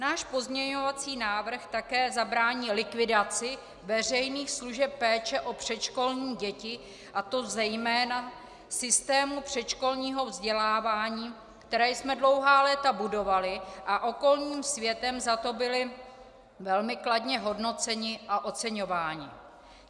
Náš pozměňovací návrh také zabrání likvidaci veřejných služeb péče o předškolní děti, a to zejména systému předškolního vzdělávání, který jsme dlouhá léta budovali a okolním světem za to byli velmi kladně hodnoceni a oceňováni.